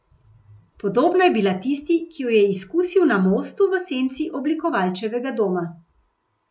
Podobna je bila tisti, ki jo je izkusil na mostu v senci Oblikovalčevega doma.